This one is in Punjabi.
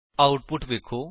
ਆਉਟੁਪਟ ਵੇਖੋ